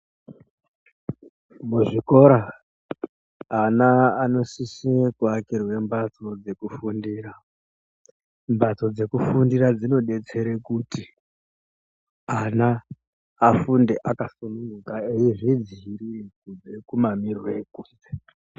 Muzvikora ana anosisa kuakirwa mbatso dzekufundira. Mbatso dzekufundira dzinosetsere kuti ana afunde akasungunguka eyizvidzivirira kubva kumamiriro ekunze.